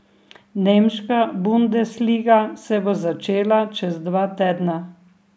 Nemška bundesliga se bo začela čez dva tedna.